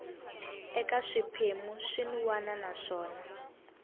eka swiphemu swin wana naswona